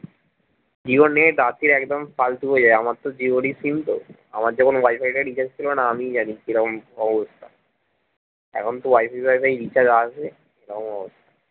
জিওর net রাত্তিরে একদম ফালতু হয়ে যায় আমার তো জিওর ই sim তো আমার যখন wifi টা recharge ছিল না আমিই জানি কি রকম অবস্থা এখন তো wifi wifi recharge আছে